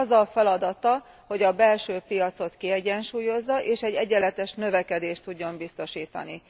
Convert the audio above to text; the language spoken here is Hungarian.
Az a feladata, hogy a belső piacot kiegyensúlyozza, és egy egyenletes növekedést tudjon biztosítani.